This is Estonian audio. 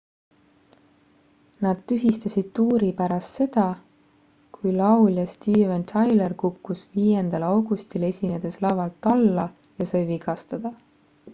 nad tühistasid tuuri pärast seda kui laulja steven tyler kukkus 5 augustil esinedes lavalt alla ja sai vigastada